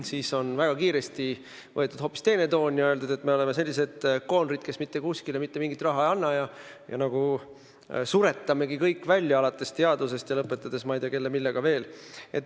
Nüüd on väga kiiresti võetud hoopis teine toon ja öeldakse, et me oleme koonerid, kes mitte kuskile mitte mingit raha ei anna ja suretame kõik välja, alates teadusest ja lõpetades ma ei tea kellega-millega veel.